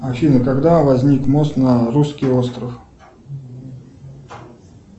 афина когда возник мост на русский остров